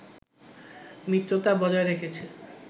মিত্রতা বজায় রেখেছে